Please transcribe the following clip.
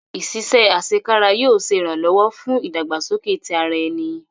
Iṣiṣẹ asekara yóò ṣe iranlọwọ fun idagbasoke ti ara ẹni